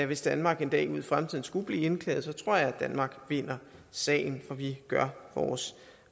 hvis danmark en dag ude i fremtiden skulle blive indklaget tror jeg danmark vinder sagen for vi gør vores